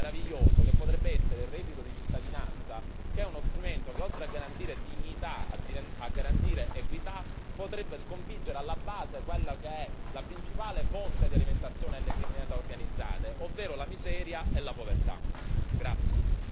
Dovremmo utilizzare uno strumento meraviglioso, che potrebbe essere il reddito di cittadinanza che è uno strumento che, oltre a garantire dignità, a garantire equità, potrebbe sconfiggere alla base quella che è la principale fonte di alimentazione delle criminalità organizzate ovvero la miseria e la povertà.